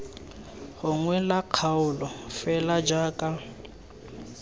gongwe la kgaolo fela jaaka